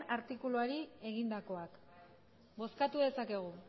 artikuluari egindakoak bozkatu dezakegu